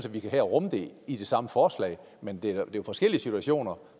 at vi kan rumme det i det samme forslag men det er jo forskellige situationer